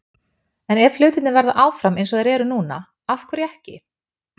En ef hlutirnir verða áfram eins og þeir eru núna- af hverju ekki?